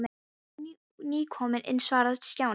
Við erum nú nýkomin inn svaraði Stjáni.